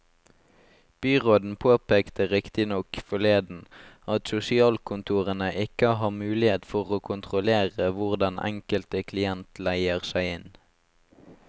Byråden påpekte riktig nok forleden at sosialkontorene ikke har mulighet for å kontrollere hvor den enkelte klient leier seg inn.